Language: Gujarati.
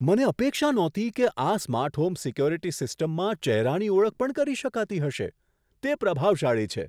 મને અપેક્ષા નહોતી કે આ સ્માર્ટ હોમ સિક્યુરિટી સિસ્ટમમાં ચહેરાની ઓળખ પણ કરી શકાતી હશે. તે પ્રભાવશાળી છે!